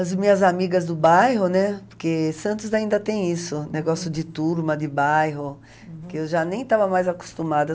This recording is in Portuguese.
As minhas amigas do bairro, né, porque Santos ainda tem isso, negócio de turma, de bairro, que eu já nem estava mais acostumada.